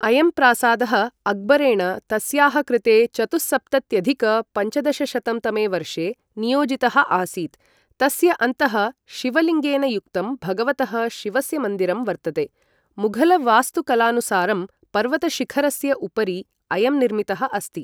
अयं प्रासादः अक्बरेण तस्याः कृते चतुःसप्तत्यधिक पञ्चदशशतं तमे वर्षे नियोजितः आसीत्, तस्य अन्तः शिवलिङ्गेन युक्तं भगवतः शिवस्य मन्दिरं वर्तते, मुघल वास्तुकलानुसारं पर्वतशिखरस्य उपरि अयं निर्मितः अस्ति।